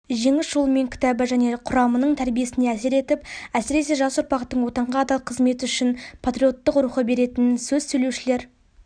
жеңіс жолымен кітабы жеке құрамның тәрбиесіне әсер етіп әсіресе жас ұрпақтың отанға адал қызмет ету үшін патриоттық рухы беретінін сөз сөйлеушілер